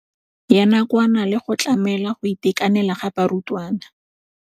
Ya nakwana le go tlamela go itekanela ga barutwana.